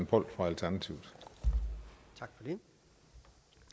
på og det